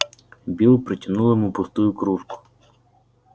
билл протянул ему пустую кружку